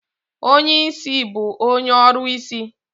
Onye ìsì bụ onye ọrụsị.